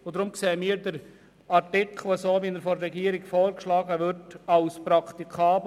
Deshalb erachten wir den Artikel so, wie er vom Regierungsrat vorgeschlagen wird, als praktikabel;